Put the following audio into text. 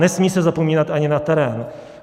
Nesmí se zapomínat ani na terén.